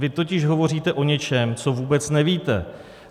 Vy totiž hovoříte o něčem, co vůbec nevíte.